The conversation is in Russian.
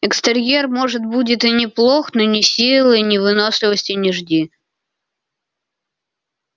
экстерьер может будет и неплох но ни силы ни выносливости не жди